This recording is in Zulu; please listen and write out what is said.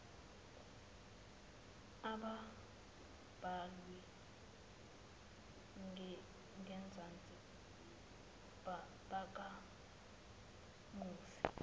ababhalwe ngenzansi bakamufi